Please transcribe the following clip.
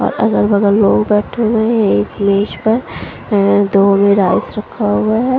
और अगल बगल लोग बैठे हुए हैं एक मेज पर ए दो में राइस रखा हुआ हैं।